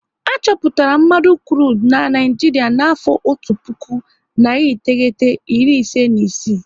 A chọpụtara mmanụ krudu n'Naijiria n'afọ otu puku, nari iteghete, iri ise na isii